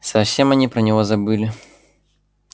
совсем они про него забыли